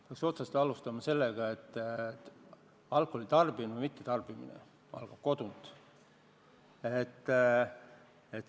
Peaks alustama otsast ehk sellega, et alkoholi tarbimine või mittetarbimine saab alguse kodunt.